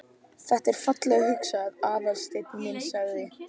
Þetta er fallega hugsað, Aðalsteinn minn sagði